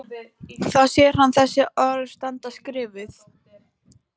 Þá sér hann þessi orð standa skrifuð: